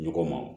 Ɲɔgɔn ma